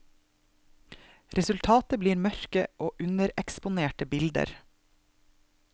Resultatet blir mørke og undereksponerte bilder.